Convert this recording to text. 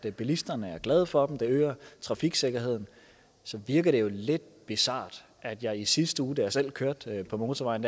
er bilisterne glade for dem de øger trafiksikkerheden så virker det jo lidt bizart at jeg i sidste uge da jeg selv kørte på motorvejen